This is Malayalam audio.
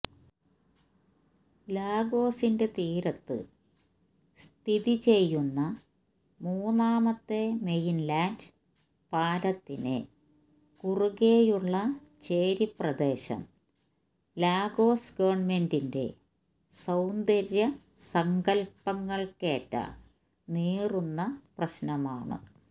ലാഗോസിന്റെ തീരത്ത് സ്ഥിതിചെയ്യുന്ന മൂന്നാമത്തെ മെയിൻലാൻഡ് പാലത്തിന് കുറുകെയുള്ള ചേരി പ്രദേശം ലാഗോസ് ഗവണ്മെന്റിൻറെ സൌന്ദര്യ സങ്കല്പങ്ങൾക്കേറ്റ നീറുന്ന പ്രശ്നമാണ്